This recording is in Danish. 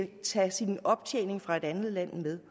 tage sin optjening fra et andet land med